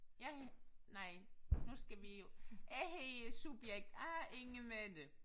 Jeg nej nu skal vi jo jeg hedder subjekt A Inge Mette